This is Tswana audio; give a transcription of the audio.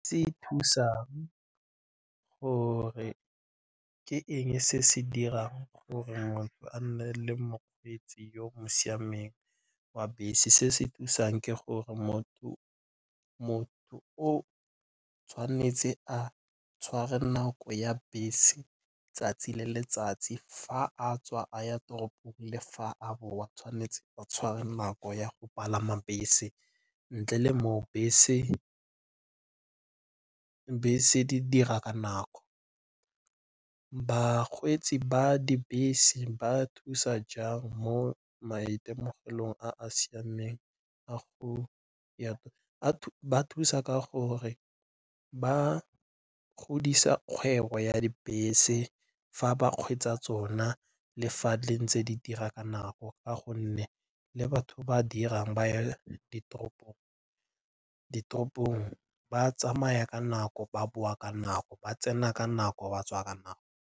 Se thusa gore ke eng se se dirang gore motho a nne le mokgweetsi yoo siameng wa bese? Se se thusang ke gore motho o tshwanetse a tshware nako ya bese 'tsatsi le letsatsi. Fa a tswa a ya toropong le fa a boa tshwanetse a tshware nako ya go palama bese, ntle le mo o dibese di dira ka nako. Bakgweetsi ba dibese ba thusa jang mo maitemogelong a a siameng a ba thusa ka gore ba godisa kgwebo ya dibese fa ba kgweetsa tsona le fa di ntse di dira ka nako ka gonne le batho ba dirang ba ya ditoropong ba tsamaya ka nako, ba boa ka nako, ba tsena ka nako, batswa ka nako.